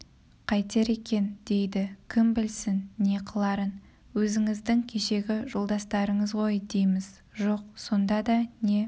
қайтер екен дейді кім білсін не қыларын өзіңіздің кешегі жолдастарыңыз ғой дейміз жоқ сонда да не